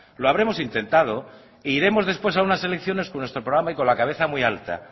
lo habremos intentado e iremos después a unas elecciones con nuestro programa y con la cabeza muy alta